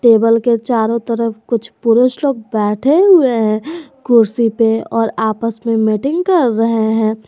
Table के चारों तरफ कुछ पुरुष लोग बैठे हुए हैं कुर्सी पे और आपस में मीटिंग कर रहे हैं।